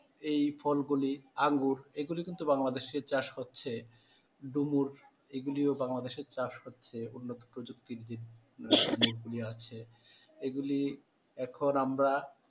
এই ফলগুলি আঙ্গুর এগুলো কিন্তু বাংলাদেশে চাষ হচ্ছে ডুমুর এগুলিও বাংলাদেশের চাষ হচ্ছে উন্নত প্রযুক্তির আছে এগুলি এখন আমরা,